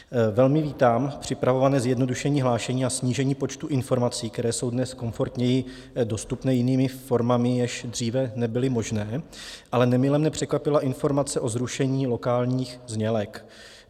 Velmi vítám připravované zjednodušení hlášení a snížení počtu informací, které jsou dnes komfortněji dostupné jinými formami, jež dříve nebyly možné, ale nemile mne překvapila informace o zrušení lokálních znělek.